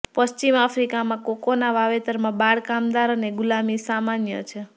પશ્ચિમ આફ્રિકામાં કોકોના વાવેતરોમાં બાળ કામદાર અને ગુલામી સામાન્ય છે